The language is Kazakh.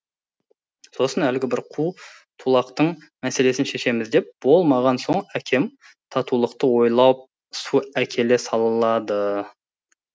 сосын әлгі бір қу тулақтың мәселесін шешеміз деп болмаған соң әкем татулықты ойлап су әкеле салады